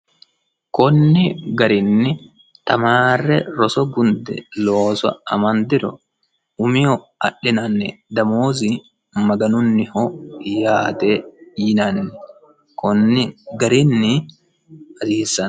kunni garinni tamaarre roso gunde looso amandiro umihu adhinanni damoozi maganunniho yaate yinanini kunni garinni hasiissano